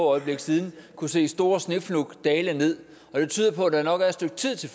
øjeblikke siden kunne se store snefnug dale ned og det tyder på at der nok er et stykke tid til